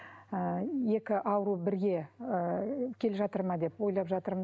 ыыы екі ауру бірге ы келе жатыр ма деп ойлап жатырмын